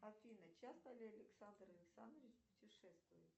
афина часто ли александр александрович путешествует